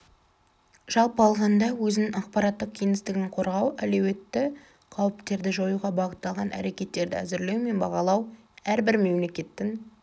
жалпы алғанда өзінің ақпараттық кеңістігін қорғау әлеуетті қауіптерді жоюға бағытталған әрекеттерді әзірлеу мен бағалау әрбір мемлекеттің